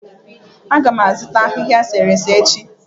A ga m azụta ahịhịa eserese echi